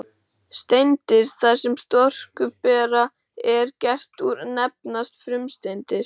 Steindir þær sem storkuberg er gert úr nefnast frumsteindir.